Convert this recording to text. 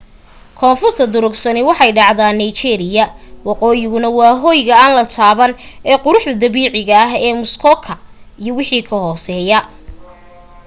koonfurta durugsani waxay dhacdaa niagara woqooyiguna waa hoyga aan la taaban ee quruxda dabiiciga ah ee muskoka iyo wixii ka hoseya